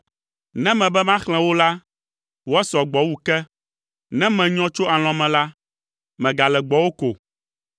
Ne mebe maxlẽ wo la, woasɔ gbɔ wu ke. Ne menyɔ tso alɔ̃ me la, megale gbɔwò ko.